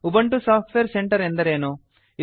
Ubuntu software centre ಎಂದರೇನು